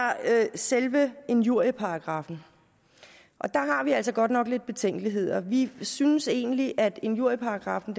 selve injurieparagraffen og der har vi altså godt nok lidt betænkeligheder vi synes egentlig at injurieparagraffen